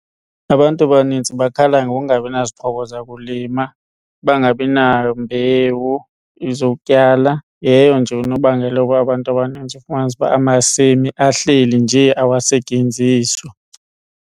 Abantu abanintsi bakhala ngokungabi nazixhobo zakulima bangabi nambewu zokutyala yeyo nje unobangela wokuba abantu abanintsi ufumanise uba amasimi ahleli nje awayesetyenziswa.